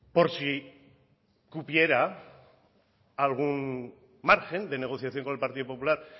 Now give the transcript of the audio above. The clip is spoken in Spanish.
por si cupiera algún margen de negociación con el partido popular